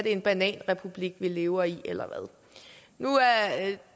en bananrepublik vi lever i eller hvad nu